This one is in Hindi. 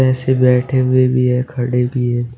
ऐसे बैठे हुए भी है खड़े भी है।